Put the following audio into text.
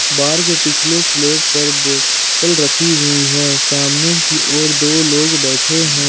बार के पिछले स्लिप पर बोतल रखी हुई है सामने की ओर दो लोग बैठे हैं।